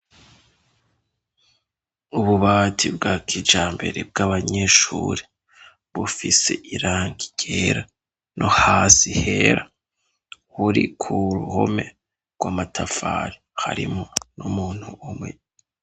Ububati bwa kijambere bw'abanyeshure bufise irangi ryera, no hasi hera. Buri ku ruhome rw'amatafari, harimwo n'umuntu umwe.